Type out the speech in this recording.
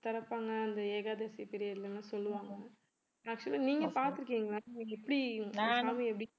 திறப்பாங்க அந்த ஏகாதசி period ல எல்லாம் சொல்லுவாங்க actual ஆ நீங்க பார்த்திருக்கீங்க எப்படி